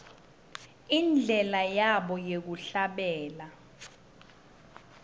indlela yabo yekuhlabelela